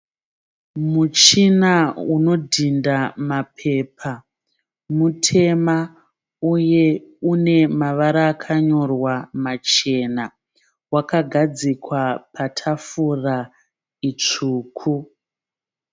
Muchina unodhinda mapepa. Mutema uye une mavara akanyorwa machena. Wakagadzikwa patafura itsvuku.